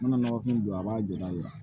N mana nɔgɔfin don a b'a jɔ da la